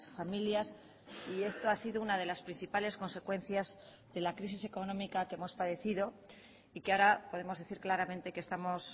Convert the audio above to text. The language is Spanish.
familias y esto ha sido una de las principales consecuencias de la crisis económica que hemos padecido y que ahora podemos decir claramente que estamos